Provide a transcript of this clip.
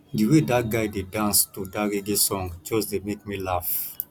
the way dat guy dey dance to dat reggae song just dey make me laugh